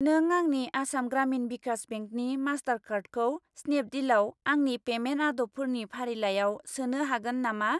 नों आंनि आसाम ग्रामिन भिकास बेंकनि मास्टारकार्डखौ स्नेपडिलाव आंनि पेमेन्ट आदबफोरनि फारिलाइयाव सोनो हागोन नामा?